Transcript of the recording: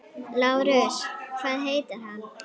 LÁRUS: Hvað heitir hann?